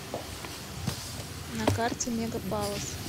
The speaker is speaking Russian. на карте мега палас